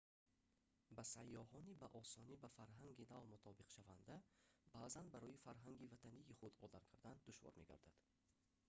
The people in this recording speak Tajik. ба сайёҳони ба осонӣ ба фарҳанги нав мутобиқшаванда баъзан барои фарҳанги ватании худ одат кардан душвор мегардад